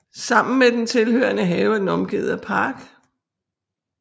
Sammen med den tilhørende have er den omgivet af park